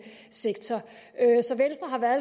sektor